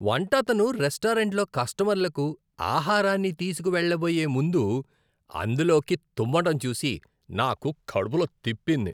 వంట అతను రెస్టారెంట్లో కస్టమర్లకు ఆహారాన్నితీసుకు వెళ్లబోయే ముందు అందులోకి తుమ్మటం చూసి నాకు కడుపులో తిప్పింది.